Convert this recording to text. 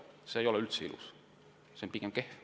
See ei ole ilus, see on pigem kehv.